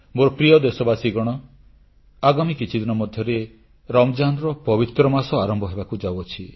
ମୋ ପ୍ରିୟ ଦେଶବାସୀଗଣ ଆଗାମୀ କିଛିଦିନ ମଧ୍ୟରେ ରମଜାନ୍ର ପବିତ୍ର ମାସ ଆରମ୍ଭ ହେବାକୁ ଯାଉଅଛି